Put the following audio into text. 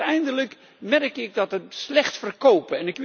Maar uiteindelijk merk ik dat het slecht verkoopt.